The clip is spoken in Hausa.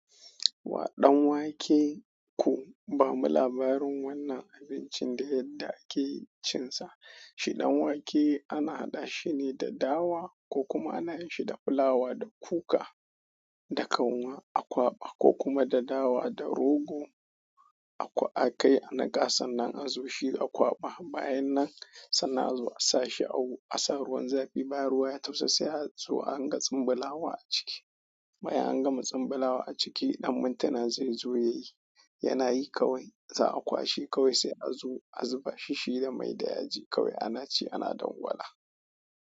Wa ɗanwake ku, bamu labarin wannan abincin da yadda ake cin sa. Shi ɗanwake ana haɗa shi ne da dawa ko kuma ana yin shi da fulawa da kuka da kanwa akwaɓa ko kuma da dawa da rogo. Akwa a kai a niƙa sannnan a zo shi a kwaɓa. Bayan nan sannan a zo a sa shi a wu, a sa ruwan zafi ba ruwa ya tafasa sai a zo adin ga tsumbulawa a ciki. Bayan an gama tsumbulawa a ciki, ɗan mintina zai zo ya yi. Yana yi kawai, za a kwashi kawai sai a zo a zuba shishi da mai da yaji kawai ana ci ana dangwala.